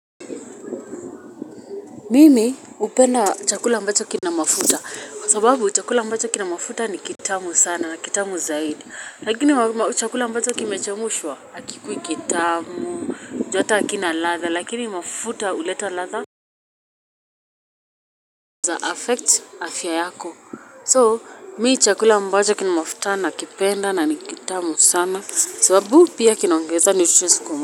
Mimi hupenda chakula ambacho kina mafuta, kwa sababu chakula ambacho kina mafuta ni kitamu sana, kitamu zaidi, lakini chakula ambacho kimechemshwa, hakikui kitamu, juuhata hakina ladha, lakini mafuta huleta ladha, Affect afya yako, so mimi chakula ambacho kina mafuta na kipenda na ni kitamu sana, sababu pia kinaongeza nutrients kwamu,